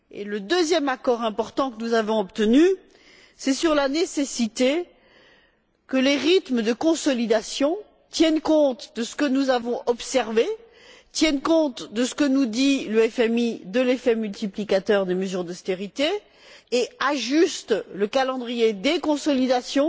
Le deuxième accord important que nous avons obtenu, c'est sur la nécessité que les rythmes de consolidation tiennent compte de ce que nous avons observé, et de ce que nous dit le FMI de l'effet multiplicateur des mesures d'austérité, et ajustent le calendrier des consolidations